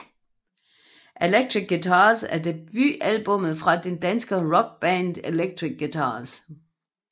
Electric Guitars er debutalbummet fra det danske rockband Electric Guitars